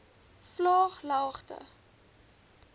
vlaaglagte